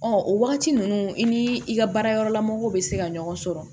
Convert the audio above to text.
Ɔ o wagati ninnu i ni i ka baara yɔrɔlamɔgɔw bɛ se ka ɲɔgɔn sɔrɔ